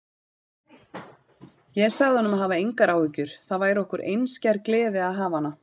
Ég sagði honum að hafa engar áhyggjur, það væri okkur einskær gleði að hafa hana.